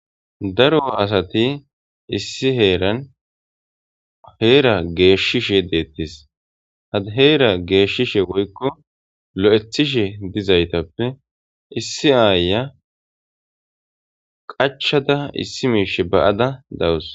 Daro asati issi heeran heera geeshishe deettis had heera geeshshishe woykko lo'ethishe dizaytappe issi aaya qachada issi miishe ba'ada dawus.